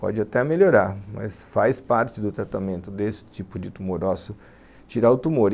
Pode até melhorar, mas faz parte do tratamento desse tipo de tumor ósseo tirar o tumor.